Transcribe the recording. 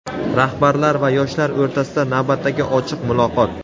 Rahbarlar va yoshlar o‘rtasida navbatdagi ochiq muloqot.